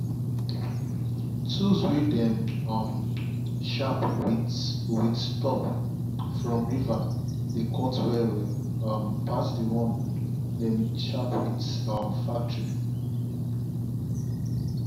tools way them um sharp with with stop from river dey cut well well um pass the one dem sharp for um factory.